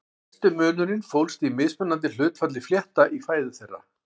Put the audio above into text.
Helsti munurinn fólst í mismunandi hlutfalli flétta í fæðu þeirra.